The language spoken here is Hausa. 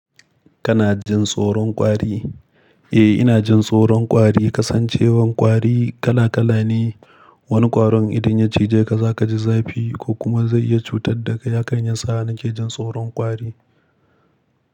Kana jin tsoron ƙwari? Eh, ina jin tsoron ƙwari. Kasancewar ƙwari kala kala ne. Wani ƙwarin idan ya cije ka zaka ji zafi ko kuma zai iya cutar da ka. Hakan yasa na ke jin tsoron ƙwari.